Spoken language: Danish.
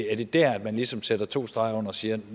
er det der man ligesom sætter to streger under og siger at